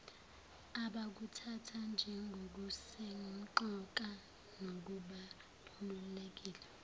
abakuthatha njengokusemqoka nokubalulekile